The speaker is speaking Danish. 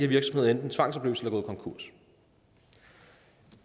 virksomheder enten tvangsopløst eller gået konkurs